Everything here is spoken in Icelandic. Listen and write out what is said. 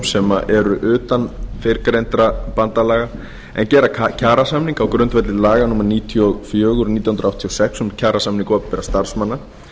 sem eru utan fyrrgreindra bandalaga en gera kjarasamning á grundvelli laga númer níutíu og fjögur nítján hundruð áttatíu og sex um kjarasamninga opinberra starfsmanna